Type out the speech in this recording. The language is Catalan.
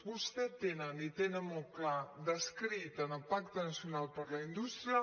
vostès tenen i tenen molt clarament descrit en el pacte nacional per a la indústria